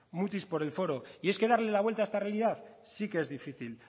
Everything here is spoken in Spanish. mutis por el foro y es que darle la vuelta a esta realidad sí que es difícil